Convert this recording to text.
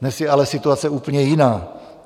Dnes je ale situace úplně jiná.